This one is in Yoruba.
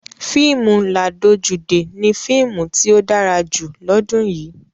Fíìmù ládojúdé ni fíìmù tí ó dára jù lọ́dún yìí.